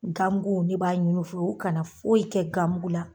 Gamgu ne b'a ɲin'u fɛ u kana foyi kɛ gamugu la